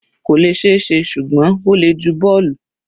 kò lè ṣe é, ṣùgbọ́n ó le ju bọ́ọ̀lù.